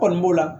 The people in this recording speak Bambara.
Kɔni b'o la